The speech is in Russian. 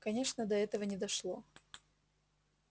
конечно до этого не дошло